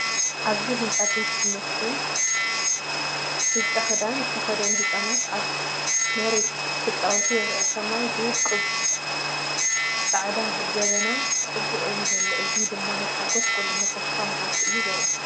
ኣብዚ ህንጻ ቤት ትምህርትን ብጫ ክዳን ዝተኸድኑ ህጻናትን ኣብ መሬት ክጻወቱ ይረኣዩ። ሰማይ ብውቁብ ጻዕዳ ደበና ጽቡቕ እዩ ዘሎ። እዚ ድማ ናይ ሓጎስን ቁልዕነትን ተስፋን መዓልቲ ዘርኢ እዩ።